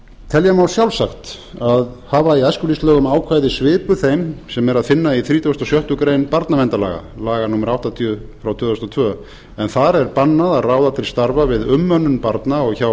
telja má sjálfsagt að hafa í æskulýðslögum ákvæði svipuð þeim sem er að finna í þrítugasta og sjöttu grein barnaverndarlaga laga númer áttatíu tvö þúsund og tvö en þar er bannað að ráða til starfa við umönnun barna og hjá